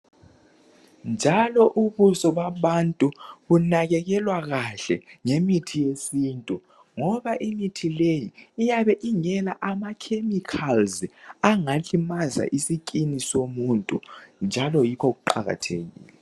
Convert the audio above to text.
Njalo ubuso babantu bunakekelwa kahle ngemithi yesintu ngoba imithi leyi iyabe ingela ama chemicals angalimaza isikhumba somuntu yikho kuqakathekile.